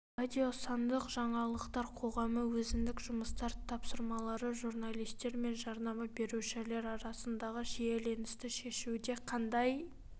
радио сандық жаңалықтар қоғамы өзіндік жұмыстар тапсырмалары журналистер мен жарнама берушілер арасындағы шиеленісті шешуде қандай